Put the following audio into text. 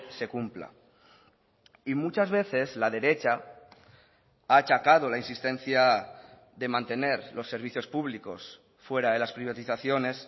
se cumpla y muchas veces la derecha ha achacado la insistencia de mantener los servicios públicos fuera de las privatizaciones